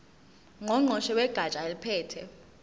ngqongqoshe wegatsha eliphethe